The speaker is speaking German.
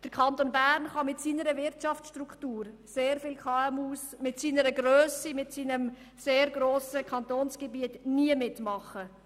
Der Kanton Bern kann mit seiner Wirtschaftsstruktur für sehr viele KMUs mit seiner Grösse und seinem sehr grossen Kantonsgebiet im Steuerwettbewerb nie mitmachen.